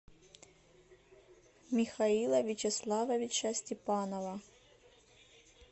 михаила вячеславовича степанова